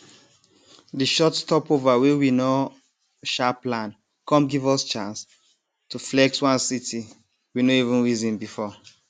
di short stopover wey we nor um plan com give us chance to flex one city we no even reason before